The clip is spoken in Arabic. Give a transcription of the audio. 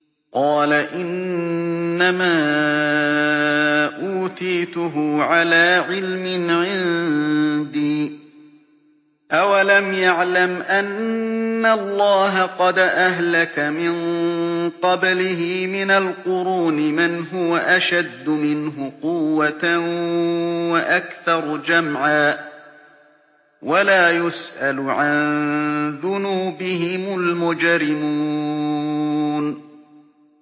قَالَ إِنَّمَا أُوتِيتُهُ عَلَىٰ عِلْمٍ عِندِي ۚ أَوَلَمْ يَعْلَمْ أَنَّ اللَّهَ قَدْ أَهْلَكَ مِن قَبْلِهِ مِنَ الْقُرُونِ مَنْ هُوَ أَشَدُّ مِنْهُ قُوَّةً وَأَكْثَرُ جَمْعًا ۚ وَلَا يُسْأَلُ عَن ذُنُوبِهِمُ الْمُجْرِمُونَ